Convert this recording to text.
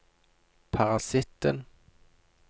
parasitten